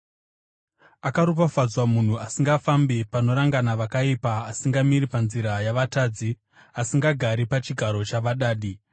Akaropafadzwa munhu asingafambi panorangana vakaipa, asingamiri panzira yavatadzi, asingagari pachigaro chavadadi.